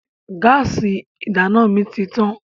Gáásì ìdáná mi ti tán.